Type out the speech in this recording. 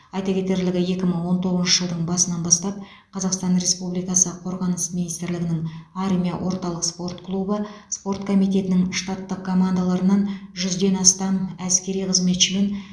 айта кетерлігі екі мың он тоғызыншы жылдың басынан бастап қазақстан республикасы қорғаныс министрлігінің армия орталық спорт клубы спорт комитетінің штаттық командаларынан жүзден астам әскери қызметші мен